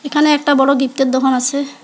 এখানে একটা বড় গিফট -এর দোকান আসে।